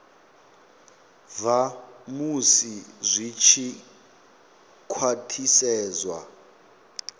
bva musi zwi tshi khwathisedzwa